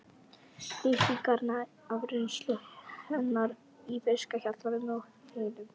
Lýsingarnar af reynslu hennar í fiskhjallinum og heyinu?